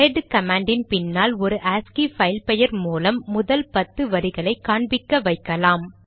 head கமாண்டின் பின்னால் ஒரு ஆஸ்கி பைல் பெயர் மூலம் முதல் பத்து வரிகளை காண்பிக்க வைக்கலாம்